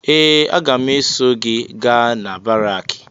Ee! Agam eso gị gaa na baraakị.